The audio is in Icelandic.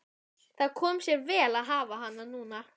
Það kom sér vel að hafa hana núna.